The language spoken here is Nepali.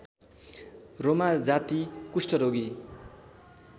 रोमाजाति कुष्टरोगी